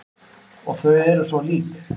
Og þau eru svo lík.